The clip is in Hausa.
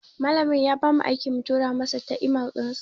Malamin ya bamu aiki mu tura masa ta imel dinsa.